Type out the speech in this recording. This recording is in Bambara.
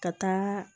Ka taa